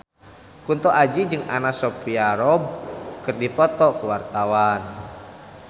Kunto Aji jeung Anna Sophia Robb keur dipoto ku wartawan